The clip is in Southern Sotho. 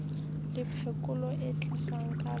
le phekolo e tliswang ka